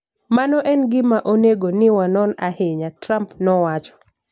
" Mano en gima onego ni wanon ahinya, " Trump nowacho